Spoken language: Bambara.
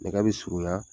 Nɛgɛ bɛ surunya